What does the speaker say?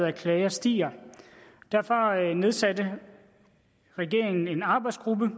af klager stiger derfor nedsatte regeringen en arbejdsgruppe